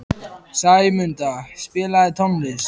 Sæmunda, spilaðu tónlist.